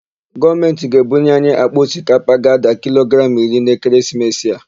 Gọọmentị ga-ebunye anyi àkpà osikapa ga-ada kilogramụ iri n'ekeresimesi a.